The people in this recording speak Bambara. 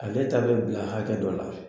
Ale taa bɛ bila hakɛ dɔ la